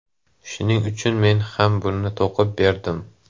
Shuning uchun men ham buni to‘qib berdim”.